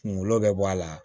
Kungolo bɛ bɔ a la